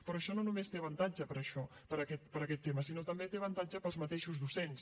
però això no només té avantatge per a això per a aquest tema sinó que té avantatge per als mateixos docents